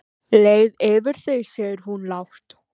Leið yfir þig segir hún lágt.